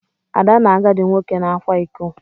Ada na agadi nwoke na-akwa ịkọ.